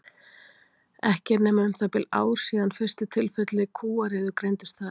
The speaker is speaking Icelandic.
ekki er nema um það bil ár síðan fyrstu tilfelli kúariðu greindust þar